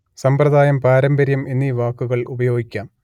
സമ്പ്രദായം പാരമ്പര്യം എന്നീ വാക്കുകൾ ഉപയോഗിക്കാം